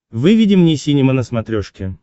выведи мне синема на смотрешке